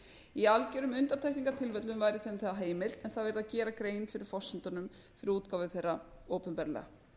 í algjörum undantekningartilfellum væri þeim það heimilt en þá yrði að gera grein fyrir forsendunum fyrir útgáfu þeirra opinberlega